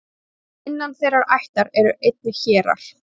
innan þeirrar ættar eru einnig hérar